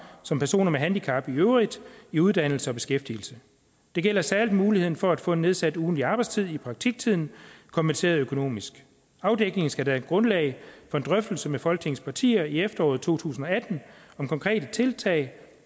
som personer med handicap i øvrigt i uddannelse og beskæftigelse det gælder særlig muligheden for at kunne få en nedsat ugentlig arbejdstid i praktiktiden kompenseret økonomisk afdækningen skal danne grundlag for en drøftelse med folketingets partier i efteråret to tusind og atten om konkrete tiltag